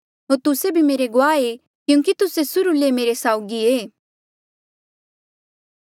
होर तुस्से भी मेरे गवाह ऐें क्यूंकि तुस्से सुर्हू ले मेरे साउगी ऐें